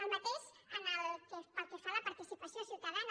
el mateix pel que fa a la participació ciutadana